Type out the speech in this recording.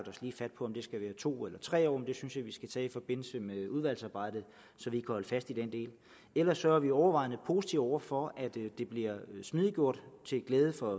to eller tre år men det synes jeg vi skal tage i forbindelse med udvalgsarbejdet så vi holde fast i den del ellers er vi overvejende positive over for at det bliver smidiggjort til glæde for